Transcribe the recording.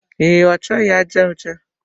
Ee, ọchọghi aja ọcha